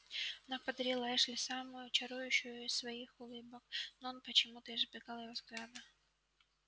она подарила эшли самую чарующую из своих улыбок но он почему-то избегал её взгляда